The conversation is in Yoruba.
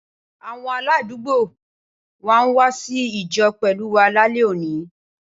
Awon aladuugbo wa n wa si Ijo pelu wa lale oni.